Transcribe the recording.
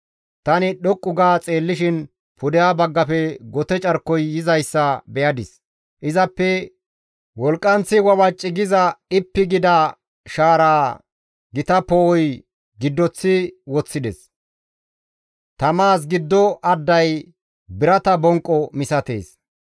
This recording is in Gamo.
Tani dhoqqu ga xeellishin pudeha baggafe gote carkoy yizayssa be7adis; izappe wolqqanththi wawaci giza dhippi gida shaaraa gita poo7oy giddoththi woththides; tamazas giddo adday birata bonqqo misatees.